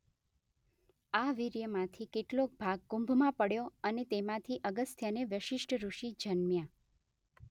આ વીર્યમાંથી કેટલોક ભાગ કુંભમાં પડ્યો અને તેમાંથી અગસ્ત્ય ને વસિષ્ઠ ઋષિ જન્મ્યા.